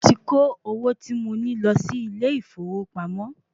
Mo ti kó owó tí mo ní lo sí ilè ìfowópamọ́